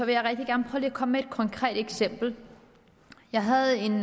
jeg gerne komme med et konkret eksempel jeg havde en